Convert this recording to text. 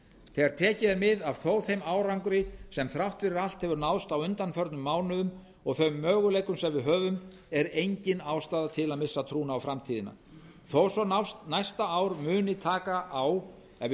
tekið er mið af þó þeim árangri sem þrátt fyrir allt hefur náðst á undanförnum mánuðum og þeim möguleikum sem við höfum er engin ástæða til að missa trúna á framtíðina þó svo að næsta ár muni taka á ef við